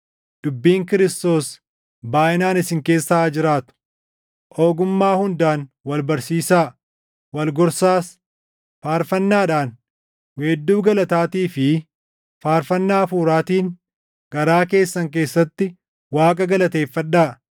Dubbiin Kiristoos baayʼinaan isin keessa haa jiraatu; ogummaa hundaan wal barsiisaa; wal gorsaas; faarfannaadhaan, weedduu galataatii fi faarfannaa Hafuuraatiin garaa keessan keessatti Waaqa galateeffadhaa.